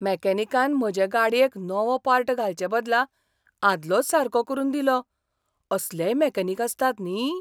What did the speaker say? मॅकॅनिकान म्हजे गाडयेक नवो पार्ट घालचे बदला आदलोच सारको करून दिलो. असलेय मॅकॅनिक आसतात, न्ही?